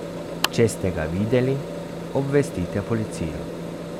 Če ste ga videli, obvestite policijo.